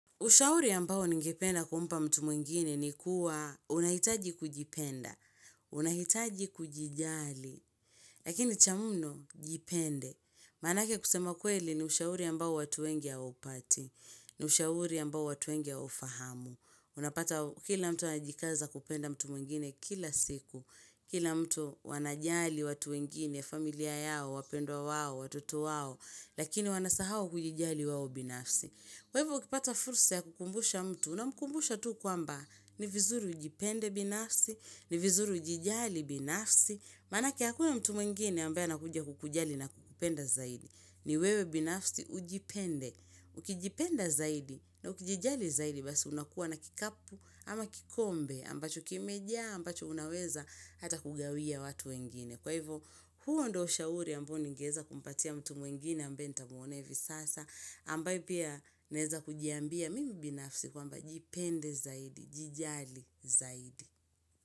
Ushauri ambao ningependa kumpa mtu mwengine ni kuwa unahitaji kujipenda, unahitaji kujijali, lakini cha mno jipende. Manake kusema kweli ni ushauri ambao watu wengi hawaupati, ni ushauri ambao watu wengi hawaufahamu. Unapata kila mtu anajikaza kupenda mtu mwengine kila siku, kila mtu wanajali watu wengine, familia yao, wapendwa wao, watoto wao, lakini wanasahau kujijali wao binafsi. Kwa hivyo, ukipata fursa ya kukumbusha mtu unamkumbusha tu kwamba ni vizuri ujipende binafsi, ni vizuri ujijali binafsi. Manake, hakuna mtu mwengine ambaye anakuja kukujali na kukupenda zaidi. Ni wewe binafsi ujipende. Ukijipenda zaidi na ukijijali zaidi basi unakuwa na kikapu ama kikombe ambacho kimejaa ambacho unaweza hata kugawia watu wengine. Kwa hivyo, huo ndo shauri ambu ningeza kumpatia mtu mwingine ambae ntamuona hivi sasa, ambae pia naeza kujiambia mimi binafsi kwamba jipende zaidi, jijali zaidi.